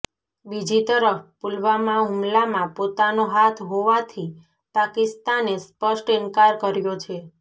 બીજી તરફ પુલવામા હૂમલામાં પોતાનો હાથ હોવાથી પાકિસ્તાને સ્પષ્ટ ઇન્કાર કર્યો છે